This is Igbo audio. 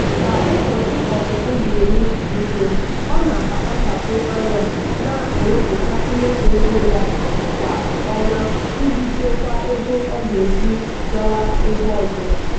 ka ụbọchị ọpụpụ na-eru nso ọ na-akpachapụ anya na-ewepụta mmefu ego ya kwa ọnwa iji chekwaa ego ọ ga-eji kwaga ebe ọzọ.